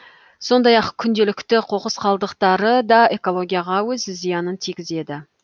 сондай ақ күнделікті қоқыс қалдықтары да экологияға өз зиянын тигізеді